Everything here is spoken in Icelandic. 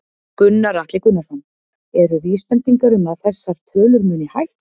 Gunnar Atli Gunnarsson: Eru vísbendingar um að þessar tölur muni hækka?